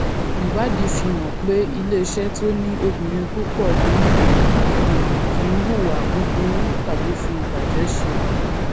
ìwádìí fi hàn pé iléeṣẹ tó ní obìnrin púpọ nínú ìgbìmọ kì í hùwà búburú tàbí fi ìbàjẹ ṣe